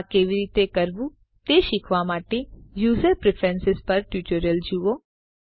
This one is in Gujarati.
આ કેવી રીતે કરવું તે શીખવા માટે યુઝર પ્રેફરન્સ પરનું ટ્યુટોરીયલ જુઓ